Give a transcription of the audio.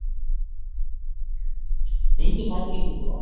நீங்க பாத்திருக்கீங்களா